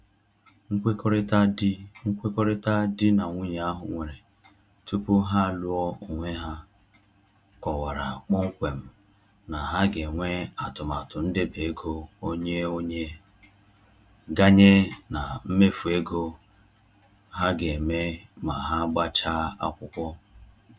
Nkwekọrịta di Nkwekọrịta di na nwunye ahụ nwere tupu ha alụọ onwe ha kọwara kpọmkwem na ha ga-enwe atụmatụ ndobeego onye-onye, ganye na mmefu ego ha ga-eme ma ha gbachaa akwụkwọ.